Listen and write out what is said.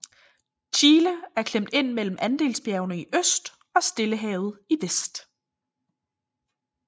Chile er klemt inde mellem Andesbjergene i øst og Stillehavet i vest